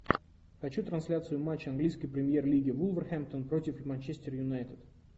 хочу трансляцию матча английской премьер лиги вулверхэмптон против манчестер юнайтед